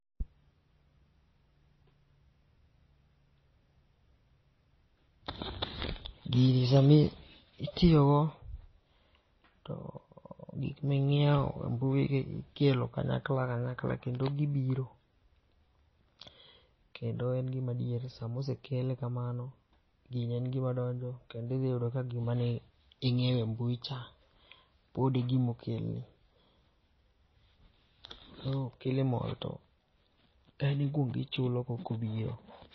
Gini sami itiyo go to gik ma inyiewo e mbui gi ikelo kanyakla kanyakla kendo gibiro kendo en gi madieri sama osekele ka mano gini en gi ma donjo kendo idhiyudo ka gi ma ni inyiewo e mbui cha pod e gima okelni .Koro killimall to en ikuongo ichulo kok obiro.